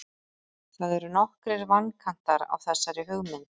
það eru nokkrir vankantar á þessari hugmynd